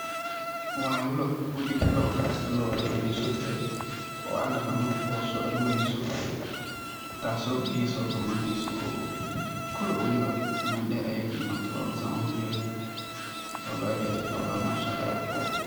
Waa loc waliba locda loloshedka eh oo an daqano oo so aroreyso taso biyo so donaneso oo kor walibo mel der ayey kaimade locdan san oga jedo waa loc aad iyo aad u qurux badan Mashaa Allah.